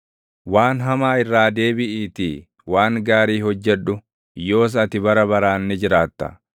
Waan hamaa irraa deebiʼiitii waan gaarii hojjedhu; yoos ati bara baraan ni jiraatta.